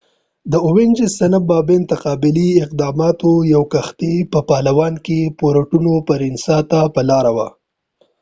د اوینجز صنف ماین تقابلي اقداماتو یوه کښتۍ په پالوان کې پورټو پرینسا ته په لاره وه